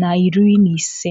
na iri na ise.